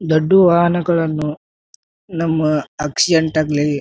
ದೊಡ್ಡ ವಾಹನಗಳನ್ನು ನಮ್ಮ ಆಕ್ಸಿಡೆಂಟ್ ಆಗ್ಲಿ --